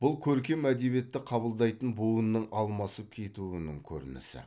бұл көркем әдебиетті қабылдайтын буынның алмасып кетуінің көрінісі